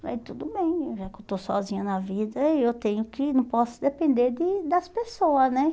Aí tudo bem, já que eu estou sozinha na vida, eu tenho que, não posso depender de das pessoas, né?